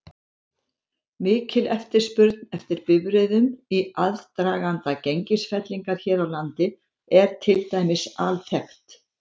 Mikil eftirspurn eftir bifreiðum í aðdraganda gengisfellinga hér á landi er til dæmis alþekkt.